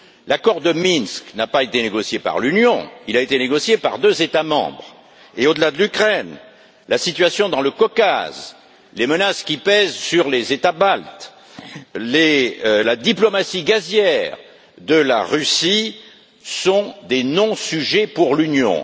L'accord de Minsk n'a pas été négocié par l'Union, il a été négocié par deux États membres et, au delà de l'Ukraine, la situation dans le Caucase, les menaces qui pèsent sur les États baltes, la diplomatie gazière de la Russie, sont des non sujets pour l'Union.